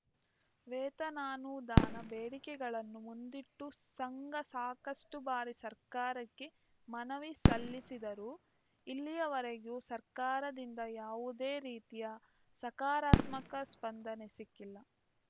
ವೇತನಾನುದಾನ ಬೇಡಿಕೆಗಳನ್ನು ಮುಂದಿಟ್ಟು ಸಂಘ ಸಾಕಷ್ಟುಬಾರಿ ಸರ್ಕಾರಕ್ಕೆ ಮನವಿ ಸಲ್ಲಿಸಿದರೂ ಇಲ್ಲಿಯವರೆಗೂ ಸರ್ಕಾರದಿಂದ ಯಾವುದೇ ರೀತಿಯ ಸಕಾರಾತ್ಮಕ ಸ್ಪಂದನೆ ಸಿಕ್ಕಿಲ್ಲ